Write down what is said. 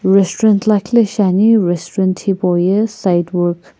restaurant lakhi lo shiani restaurant hipauye sidewok .